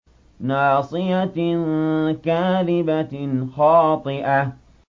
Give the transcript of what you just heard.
نَاصِيَةٍ كَاذِبَةٍ خَاطِئَةٍ